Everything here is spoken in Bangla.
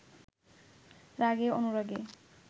রাগে অনুরাগে